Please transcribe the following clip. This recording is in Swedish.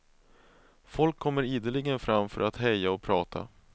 Folk kommer ideligen fram för att heja och prata.